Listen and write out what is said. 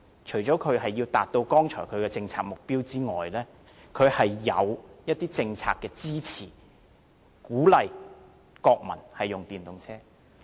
除了因為要達到剛才所說的政策目標外，還因為有政策上的支持，鼓勵國民使用電動車。